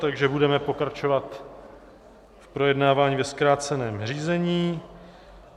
Takže budeme pokračovat v projednávání ve zkráceném řízení.